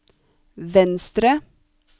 venstre